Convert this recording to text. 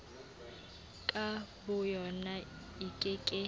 ka boyona e ke ke